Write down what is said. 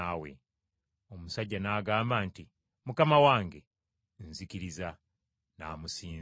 Omusajja n’agamba nti, “Mukama wange, nzikiriza!” N’amusinza.